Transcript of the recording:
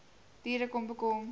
diere kom bekom